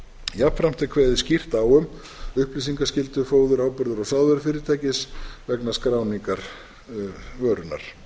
jafnframt er kveðið skýrt á um upplýsingaskyldu fóður áburðar og sávörufyrirtækis vegna skráningar vörunnar lagt